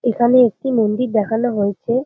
এখানে একটি মন্দির দেখানো হয়েছে।